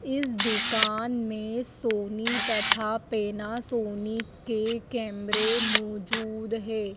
इस दुकान में सोनी तथा पैनासोनिक के कैमरे मौजूद है।